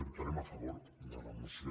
votarem a favor de la moció